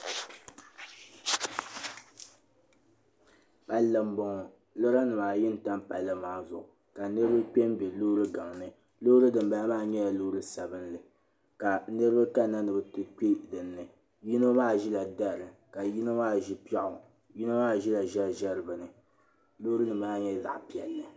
palli m bɔŋɔ loori nim ayi ntam palli maa zuɣu ka niriba kpɛm bɛ loori gaŋ ni loori dim bala maa nyɛla loori sabinli ka niriba kanna ni bɛ ti kpɛ dinni yino maa ʒela dari ka yino maa ʒe piɛɣu yino maa ʒela ʒɛri ʒɛri bini loori dimbala maa nyɛla zaɣa piɛli